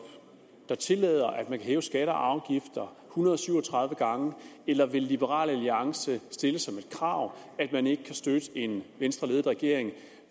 der tillader at man kan hæve skatter og afgifter hundrede og syv og tredive gange eller vil liberal alliance stille som et krav at man ikke kan støtte en venstreledet regering